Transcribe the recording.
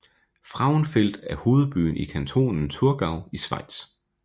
Frauenfeld er hovedbyen i kantonen Thurgau i Schweiz